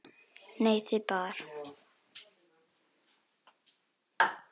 Nei, þið báðar.